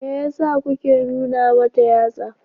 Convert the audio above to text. Me yasa kuke nuna mata yatsa?